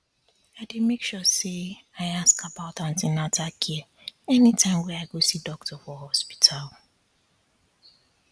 i dey make sure say i ask about an ten atal care anytime wey i go see doctor for hospital